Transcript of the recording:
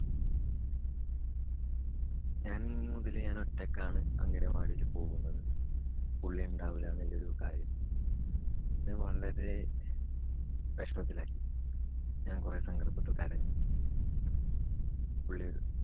ഞാന്‍ ഇനി മുതല് ഞാന് ഒറ്റയ്ക്കാണ് അംഗനവാടിയില് പോകുന്നത്. പുള്ളി ഉണ്ടാവുല എന്നുള്ള ഒരു കാര്യം എന്നെ വളരെ വെഷമത്തിലാക്കി. ഞാന്‍ കുറെ സങ്കടപ്പെട്ടു. കരഞ്ഞു. പുള്ളി